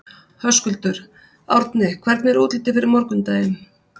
Höskuldur: Árni, hvernig er útlitið fyrir morgundaginn?